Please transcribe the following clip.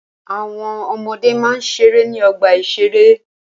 Àwọn ọmọde máa ń ṣeré ní ọgbà-ìṣeré